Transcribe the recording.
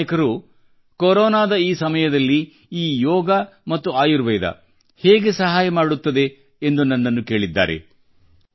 ಕೆಲವು ನಾಯಕರು ಕೊರೊನಾದ ಈ ಸಮಯದಲ್ಲಿ ಈ ಯೋಗ ಮತ್ತು ಆಯುರ್ವೇದ ಹೇಗೆ ಸಹಾಯ ಮಾಡುತ್ತದೆಂದು ನನ್ನನ್ನು ಕೇಳಿದ್ದಾರೆ